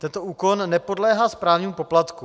Tento úkon nepodléhá správnímu poplatku.